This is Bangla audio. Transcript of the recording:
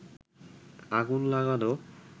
আগুন লাগানো